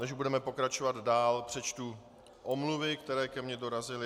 Než budeme pokračovat dál, přečtu omluvy, které ke mně dorazily.